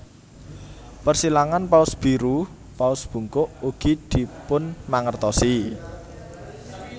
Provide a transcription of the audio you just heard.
Persilangan paus biru paus bungkuk ugi dipunmangertosi